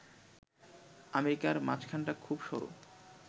আমেরিকার মাঝখানটা খুব সরু